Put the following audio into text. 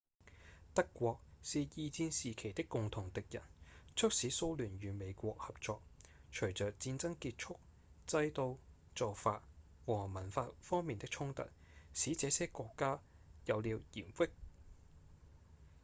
德國是二戰時期的共同敵人促使蘇聯與美國合作隨著戰爭結束制度、做法和文化方面的衝突使這些國家有了嫌隙